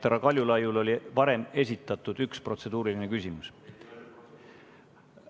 Härra Kaljulaiul oli varem esitatud üks protseduuriline küsimus.